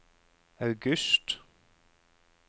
august